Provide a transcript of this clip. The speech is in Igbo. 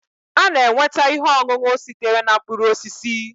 A na-enweta ihe ọṅụṅụ sitere na mkpụrụ osisi